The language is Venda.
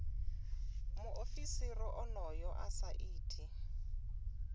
muofisiri onoyo a sa iti